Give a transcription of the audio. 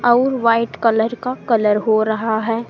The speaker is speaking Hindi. और वाइट कलर का कलर हो रहा है।